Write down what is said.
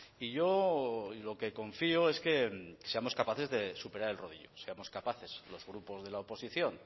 y yo lo que confío es que seamos capaces de superar el rodillo seamos capaces los grupos de la oposición